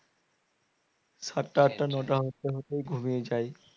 সাতটা আটটা নটা হতে হতেই ঘুমিয়ে যায়